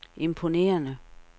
imponerende